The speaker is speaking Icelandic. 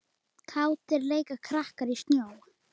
Kátir leika krakkar í snjó.